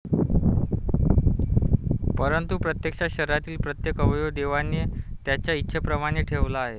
परंतु प्रत्यक्षात शरीरातील प्रत्येक अवयव देवाने त्याच्या इच्छेप्रमाणे ठेवला आहे.